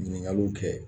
Ɲininkaliw kɛ